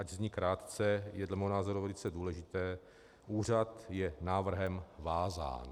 Ač zní krátce, je dle mého názoru velice důležitý: Úřad je návrhem vázán.